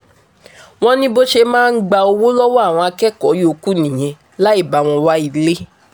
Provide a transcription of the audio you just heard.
wọ́n ní bó ṣe máa ń gba owó lọ́wọ́ àwọn akẹ́kọ̀ọ́ yòókù nìyẹn láì bá wọn wá ilé